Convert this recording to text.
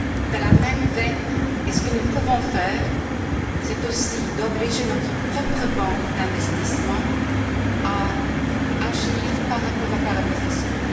Dans la même veine, ce que nous pouvons faire, c'est aussi d'obliger notre propre banque d'investissement à agir par rapport aux paradis fiscaux.